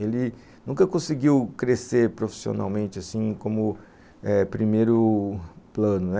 Ele nunca conseguiu crescer profissionalmente assim como eh primeiro plano.